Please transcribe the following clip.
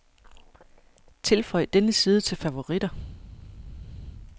Tilføj denne side til favoritter.